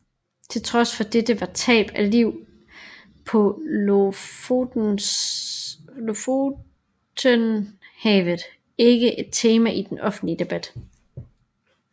Til trods for dette var tab af liv på Lofotenhavet ikke et tema i den offentlige debat